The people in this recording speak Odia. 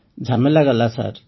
ଝାମେଲା ଗଲା ସାର୍